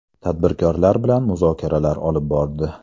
Tadbirkorlar bilan muzokaralar olib bordi.